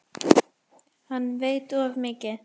Hann veit of mikið.